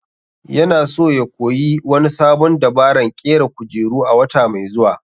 Yana so ya koyi wani sabon dabaran ƙera kujeru a wata mai zuwa